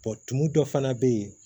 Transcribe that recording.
tumu dɔ fana bɛ yen